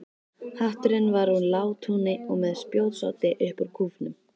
Hatturinn var úr látúni og með spjótsoddi upp úr kúfnum.